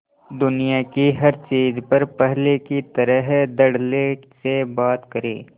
दुनिया की हर चीज पर पहले की तरह धडल्ले से बात करे